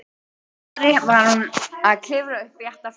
annarri var hún að klifra upp bratta fjallshlíð.